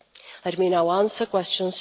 Let me now answer question